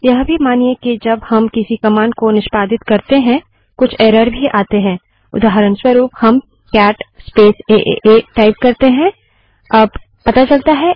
यह भी मानिए कि जब हम किसी कमांड को निष्पादित करते हैं कुछ एरर भी आते हैं उदाहऱणस्वरूप हम cat space A A A cat space A A type करते हैं और एंटर दबाते हैं